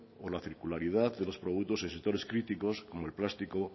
o la circularidad de los productos de sectores críticos como el plástico